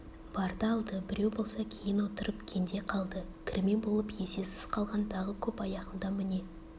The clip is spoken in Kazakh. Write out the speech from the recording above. барды алды біреу болса кейін отырып кенде қалды кірме болып есесіз қалған тағы көп аяғында міне